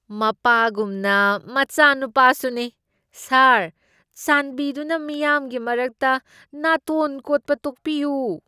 ꯃꯄꯥꯒꯨꯝꯅ, ꯃꯆꯥꯅꯨꯄꯥꯁꯨ ꯅꯤ꯫ ꯁꯥꯔ, ꯆꯥꯟꯕꯤꯗꯨꯅ ꯃꯤꯌꯥꯝꯒꯤ ꯃꯔꯛꯇ ꯅꯥꯇꯣꯟ ꯀꯣꯠꯄ ꯇꯣꯛꯄꯤꯌꯨ꯫